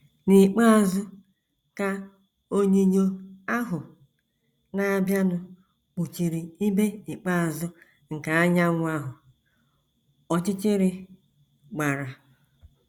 N’ikpeazụ, ka onyinyo ahụ na - abịanụ kpuchiri ibé ikpeazụ nke anyanwụ ahụ, ọchịchịrị gbara. ”